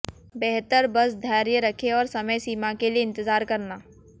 बेहतर बस धैर्य रखें और समय सीमा के लिए इंतजार करना